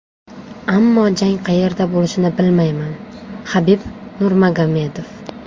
Ammo jang qayerda bo‘lishini bilmayman” Habib Nurmagomedov.